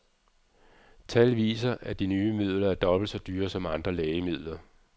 Tal viser, at de nye midler er dobbelt så dyre som andre lægemidler.